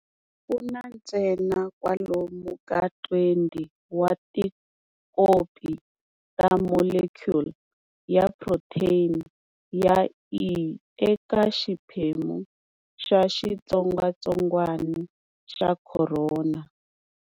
Kuna ntsena kwalomu ka 20 wa tikopi ta molecule ya protein ya E eka xiphemu xa xitsongatsongwana xa khorona.